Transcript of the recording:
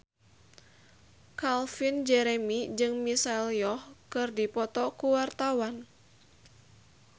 Calvin Jeremy jeung Michelle Yeoh keur dipoto ku wartawan